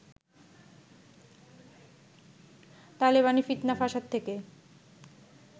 তালেবানি ফিৎনা ফ্যাসাদ থেকে